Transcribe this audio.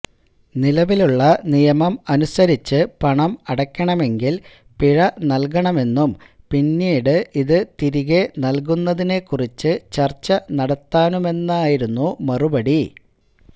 നിലവിലുള്ള നിയമം അനുസരിച്ച് പണം അടയ്ക്കണമെങ്കില് പിഴ നല്കണമെന്നും പിന്നീട് ഇത് തിരികെ നല്കുന്നതിനെ കുറിച്ച് ചര്ച്ച നടത്താമെന്നുമായിരുന്നു മറുപടി